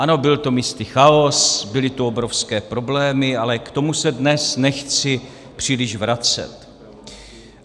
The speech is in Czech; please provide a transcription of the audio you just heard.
Ano, byl to místy chaos, byly tu obrovské problémy, ale k tomu se dnes nechci příliš vracet.